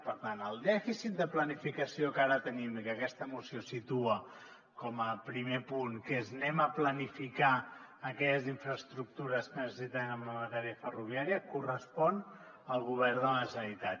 per tant el dèficit de planificació que ara tenim i que aquesta moció situa com a primer punt que és planifiquem aquelles infraestructures que necessitem en matèria ferroviària correspon al govern de la generalitat